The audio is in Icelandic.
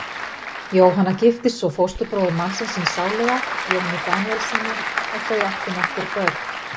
Jóhanna giftist svo fósturbróður mannsins síns sáluga, Jóni Daníelssyni, og þau áttu nokkur börn.